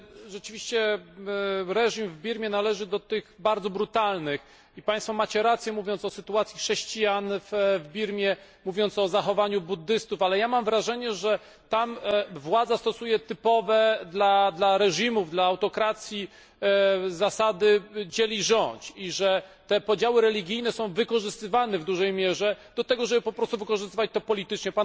Rzeczywiście reżim w Birmie należy do tych bardzo brutalnych i Państwo macie rację, mówiąc o sytuacji chrześcijan w Birmie, mówiąc o zachowaniu buddystów, ale ja mam wrażenie, że tam władza stosuje typowe dla reżimów i autokracji zasady dziel i rządź i że te podziały religijne są wykorzystywane w dużej mierze do tego, żeby po prostu wykorzystywać to politycznie.